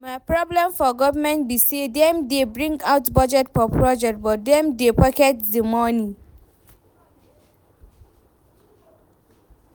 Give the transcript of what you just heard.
My problem for government be say dem dey bring out budget for project but dem dey pocket the money